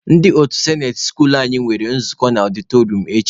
Ndị otu sinate skuulu anyị nwere nzukọ na ọdịtọrịọm echi.